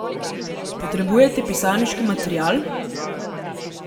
Potrebujete pisarniški material?